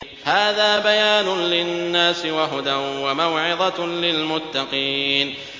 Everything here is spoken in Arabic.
هَٰذَا بَيَانٌ لِّلنَّاسِ وَهُدًى وَمَوْعِظَةٌ لِّلْمُتَّقِينَ